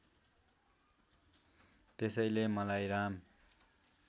त्यसैले मलाई राम